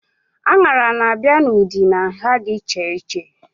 Aṅara na-abịa n'ụdị na nha dị iche iche